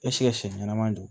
Eseke siɲɛ ɲɛnama don